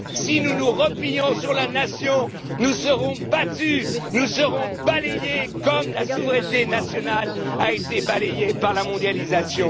national. Si nous nous replions sur la nation, nous serons battus, nous serons balayés comme la souveraineté nationale l'a été par la mondialisation.